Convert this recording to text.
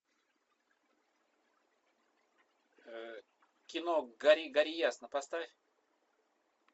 кино гори гори ясно поставь